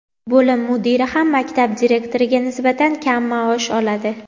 bo‘lim mudiri ham maktab direktoriga nisbatan kam maosh oladi.